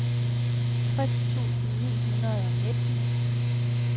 tres tusind ni hundrede og nitten